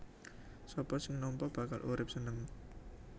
Sapa sing nampa bakal urip seneng